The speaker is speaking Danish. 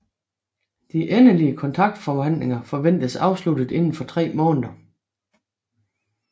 De endelige kontraktforhandlinger forventes afsluttet inden for tre måneder